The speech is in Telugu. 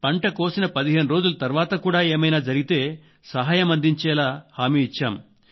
పంట కోసిన పదిహేను రోజుల తర్వాత కూడా ఏమైనా జరిగినా సహాయం అందించేలా హామీ ఇచ్చాం